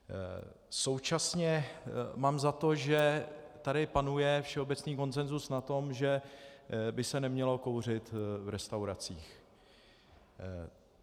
Současně mám za to, že tady panuje všeobecný konsenzus na tom, že by se nemělo kouřit v restauracích.